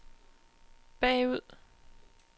bagud